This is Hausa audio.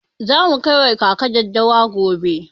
Za mu kai wa kaka daddawa gobe.